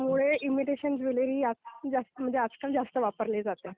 त्यामुळे imitation jewellery म्हणजे आजकाल जास्त वापरली जाते.